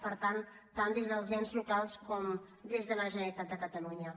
per tant tant des dels ens locals com des de la generalitat de catalunya